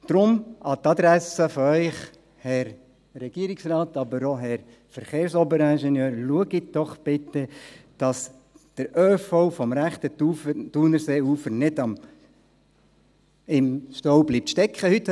Deshalb an Ihre Adressen, Herr Regierungsrat, aber auch Herr Verkehrsoberingenieur: Schauen Sie doch bitte, dass der ÖV vom rechten Thunerseeufer nicht im Stau stecken bleibt.